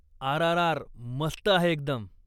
RRR. मस्त आहे एकदम.